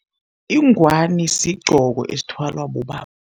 Ingwani sigqoko esithwalwa bobaba.